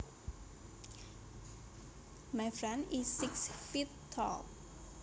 My friend is six feet tall